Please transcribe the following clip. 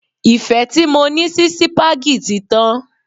Ìfẹ́ tí mo ní sí sípágì tí tán.